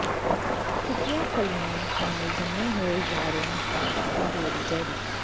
ਸੁੱਕੀਆਂ ਫਲੀਆਂ ਨਾਲ ਜੰਮੇ ਹੋਏ ਜਾਰਿਆਂ ਤੋਂ ਜੋਰੀ ਜੈਰੀ